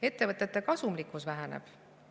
Ettevõtete kasumlikkus väheneb.